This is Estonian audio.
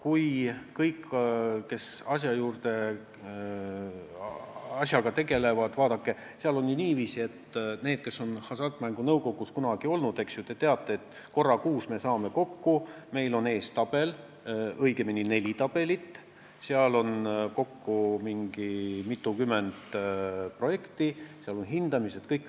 Aga kõik, kes asjaga on tegelenud, kes on Hasartmängumaksu Nõukogus kunagi olnud, teavad, et me korra kuus saame kokku, meil on ees tabel, õigemini neli tabelit, kus on kirjas mitukümmend projekti ja ka nendele tehtud hindamised.